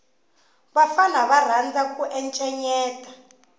vafana va rhandza ku encenyeta